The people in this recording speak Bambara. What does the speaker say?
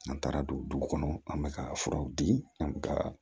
N'an taara don du kɔnɔ an be ka furaw di an mi ka